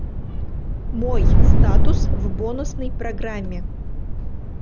мой статус в бонусной программе